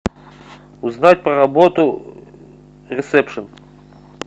узнать про работу ресепшн